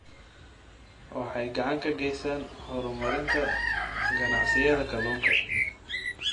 Waxay gacan ka geystaan ??horumarinta ganacsiyada kalluunka.